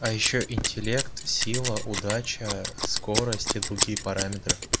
а ещё интеллект сила удача скорость и другие параметры